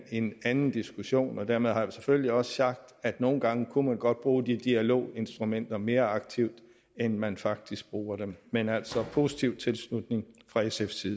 en anden diskussion og dermed har jeg selvfølgelig også sagt at nogle gange kunne man godt bruge de dialoginstrumenter mere aktivt end man faktisk bruger dem men altså der positiv tilslutning fra sfs side